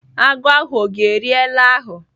Agụ ahụ ọ ga-eri ele ahụ?